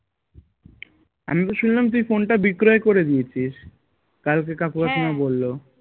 আমিতো শুনলাম তুই phone টা বিক্রয় করে দিয়েছিস কালকে কাকু বললো